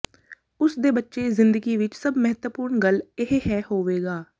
ਉਸ ਦੇ ਬੱਚੇ ਜ਼ਿੰਦਗੀ ਵਿਚ ਸਭ ਮਹੱਤਵਪੂਰਨ ਗੱਲ ਇਹ ਹੈ ਹੋਵੇਗਾ